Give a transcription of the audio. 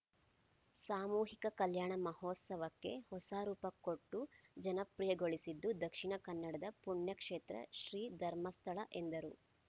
ಸಾಮೂಹಿಕ ಕಲ್ಯಾಣ ಮಹೋತ್ಸವಕ್ಕೆ ಹೊಸ ರೂಪ ಕೊಟ್ಟು ಜನಪ್ರಿಯಗೊಳಿಸಿದ್ದು ದಕ್ಷಿಣ ಕನ್ನಡದ ಪುಣ್ಯಕ್ಷೇತ್ರ ಶ್ರೀಧರ್ಮಸ್ಥಳ ಎಂದರು